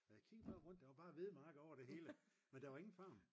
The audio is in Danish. og jeg kiggede bare rundt og der var bare hvedemarker over det hele men der var ingen farm